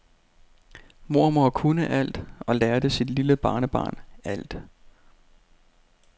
Mormor kunne alt og lærte sit lille barnebarn alt.